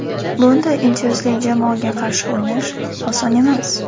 Bunday intizomli jamoaga qarshi o‘ynash oson emas.